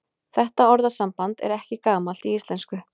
Þetta orðasamband er ekki gamalt í íslensku.